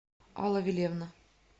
алла вилевна